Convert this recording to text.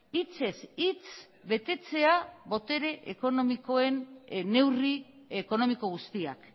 hitzez hitz betetzea botere ekonomikoen neurri ekonomiko guztiak